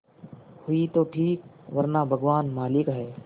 हुई तो ठीक वरना भगवान मालिक है